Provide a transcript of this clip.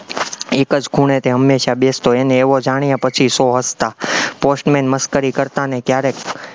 એક જ ખૂણે તે હંમેશા બેસતો, એને એવો જાણ્યા પછી સૌ હસતા, post man મશ્કરી કરતા ને ક્યારેક